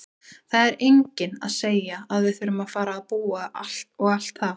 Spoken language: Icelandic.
Það er enginn að segja að við þurfum að fara að búa og allt það!